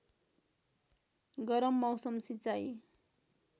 गरम मौसम सिँचाइ